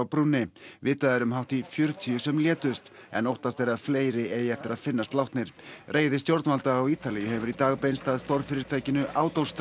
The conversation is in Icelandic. brúnni vitað er um hátt í fjörutíu sem létust en óttast er að fleiri eigi eftir að finnast látnir reiði stjórnvalda á Ítalíu hefur í dag beinst að stórfyrirtækinu